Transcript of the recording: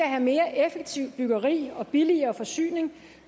have mere effektivt byggeri og billigere forsyning